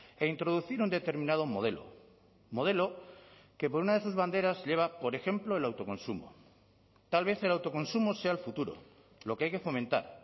e introducir un determinado modelo modelo que por una de sus banderas lleva por ejemplo el autoconsumo tal vez el autoconsumo sea el futuro lo que hay que fomentar